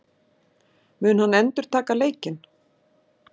Mun hann endurtaka leikinn?